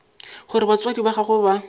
gore batswadi ba gagwe ba